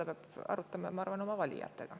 Ma arvan, et seda peab ta arutama oma valijatega.